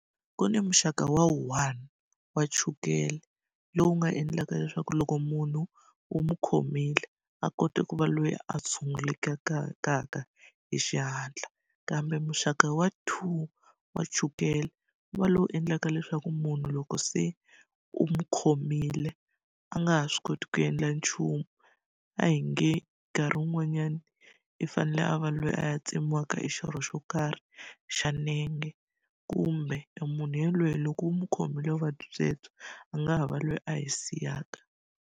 Ku na muxaka wa one wa chukele lowu nga endlaka leswaku loko munhu u n'wi khomile, a kota ku va loyi a tshungulekaka hi xihatla. Kambe muxaka wa two wa chukele wu va lowu endlaka leswaku munhu loko se u n'wi khomile a nga ha swi koti ku endla nchumu. A hi nge nkarhi wun'wanyani i fanele a va loyi a ya tsemiwaka exirho xo karhi, xa nenge, kumbe e munhu yoloye loko u n'wi khomile vuvabyi byebyo, a nga ha va loyi a hi siyaka.